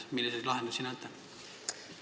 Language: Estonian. Milliseid lahendusi te näete?